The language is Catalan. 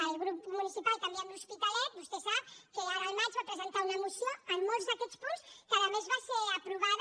el grup municipal canviem l’hospitalet vostè sap que ara al maig va presentar una moció amb molts d’aquests punts que a més va ser aprovada